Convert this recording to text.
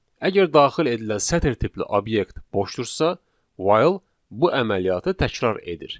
Əgər daxil edilən sətir tipli obyekt boşdursa, while bu əməliyyatı təkrar edir.